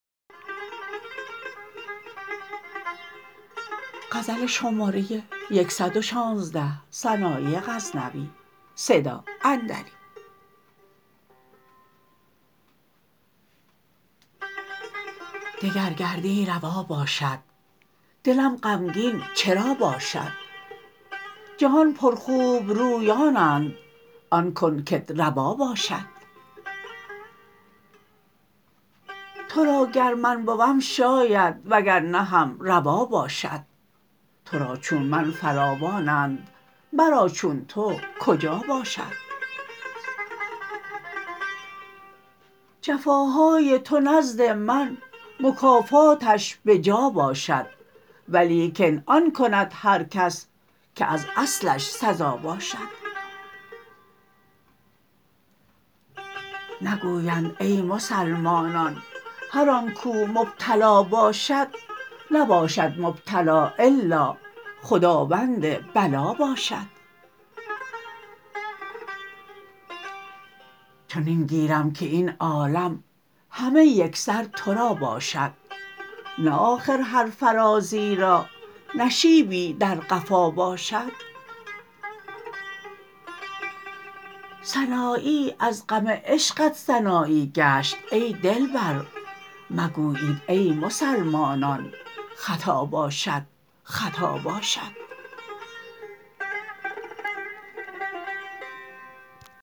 دگر گردی روا باشد دلم غمگین چرا باشد جهان پر خوبرویانند آن کن کت روا باشد ترا گر من بوم شاید وگر نه هم روا باشد ترا چون من فراوانند مرا چون تو کجا باشد جفاهای تو نزد من مکافاتش به جا باشد ولیکن آن کند هر کس که از اصلش سزا باشد نگویند ای مسلمانان هرانکو مبتلا باشد نباشد مبتلا الا خداوند بلا باشد چنین گیرم که این عالم همه یکسر ترا باشد نه آخر هر فرازی را نشیبی در قفا باشد سنایی از غم عشقت سنایی گشت ای دلبر مگویید ای مسلمانان خطا باشد خطا باشد